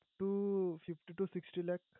Two fifty to sixty lakh